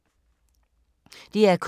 DR K